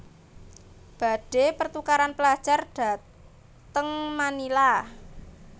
Badhe pertukaran pelajar dhateng Manila